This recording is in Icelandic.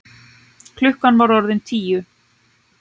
Klukkan var orðin tíu.